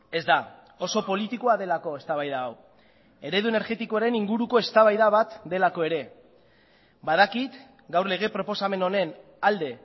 ez da oso politikoa delako eztabaida hau eredu energetikoaren inguruko eztabaida bat delako ere badakit gaur lege proposamen honen alde